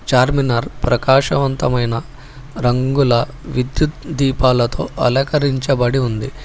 చార్మినార్ ప్రకాశవంతమైన రంగుల విద్యుత్ దీపాలతో అలంకరించబడి ఉంది.